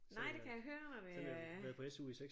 Nej det kan jeg høre og det øh